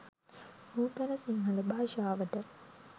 නූතන සිංහල භාෂාවට